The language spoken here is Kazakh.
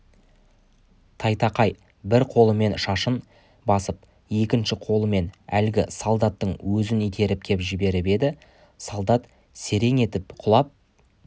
тайтақай бір қолымен шашын басып екінші қолымен әлгі солдаттың өзін итеріп кеп жіберіп еді солдат серең етіп құлап